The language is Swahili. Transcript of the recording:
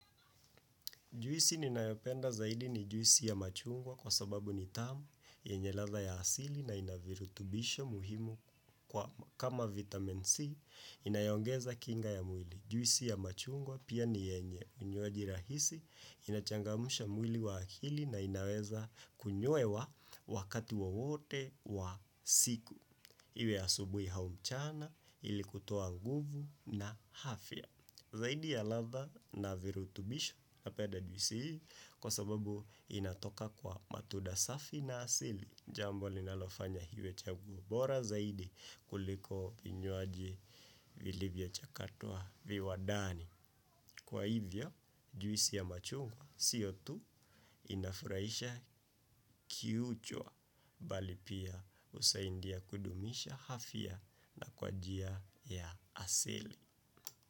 Juisi ninayopenda zaidi, ni juisi ya machungwa kwa sababu ni tamu, yenye ladha ya asili na ina virutubisho muhimu kama vitamin C inayoongeza kinga ya mwili. Juisi ya machungwa pia ni yenye, unywajirahisi, inachangamsha mwili wa akili na inaweza kunywewa wakati wowote wa siku. Iwe asubuhi hau mchana, ilikutoa nguvu na hafya. Zaidi ya ladha na virutubisho, napenda juisi hii kwa sababu inatoka kwa matunda safi na asili, jambo linalofanya iwe chaguo bora zaidi kuliko vinywaji vilivyochakatwa viwandani. Kwa hivyo, juisi ya machungwa sio tu inafurahisha kionjo, bali pia inasaidia kudumisha afya kwa njia ya asili.